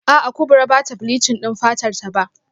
A'a Kubra bata bleaching din fatarta ba